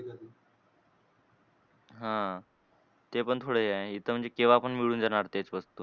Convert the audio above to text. हां. ते पण थोडे हे आहे. इथं म्हणजे केव्हा पण मिळून जाणार तेच वस्तू.